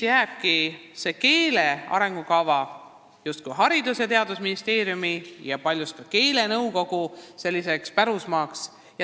Keele arengukava on paljuski jäänud Haridus- ja Teadusministeeriumi ning keelenõukogu pärusmaaks.